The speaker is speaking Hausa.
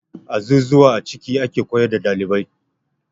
Azuzuwa a ciki ake koyar da ɗalibai.